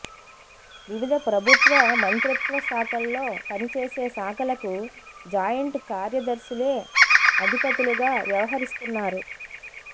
వివిధ ప్రభుత్వ మంత్రిత్వశాఖల్లో పని చేసే శాఖలకు జాయింట్ కార్యదర్శులే అధిపతు లుగా వ్యవహరిస్తున్నారు